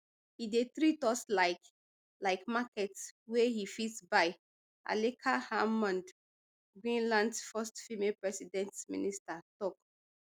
e dey treat us like like market wey e fit buy aleqa hammond greenlands first female prime minister tok